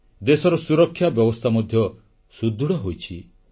ଦେଶର ସୁରକ୍ଷା ବ୍ୟବସ୍ଥା ମଧ୍ୟ ସୁଦୃଢ଼ ହୋଇଛି